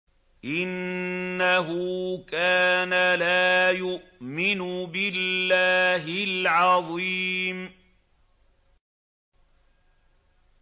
إِنَّهُ كَانَ لَا يُؤْمِنُ بِاللَّهِ الْعَظِيمِ